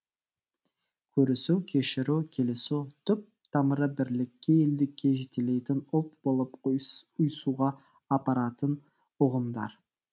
көрісу кешіру келісу түп тамыры бірлікке елдікке жетелейтін ұлт болып ұйысуға апаратын ұғымдар